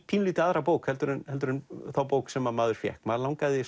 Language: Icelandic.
pínulítið aðra bók heldur en heldur en þá bók sem maður fékk mann langaði